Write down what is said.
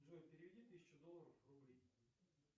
джой переведи тысячу долларов в рубли